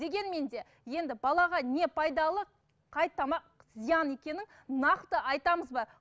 дегенмен де енді балаға не пайдалы қай тамақ зиян екенін нақты айтамыз ба